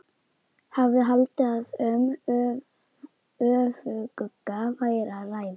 Hafði haldið að um öfugugga væri að ræða.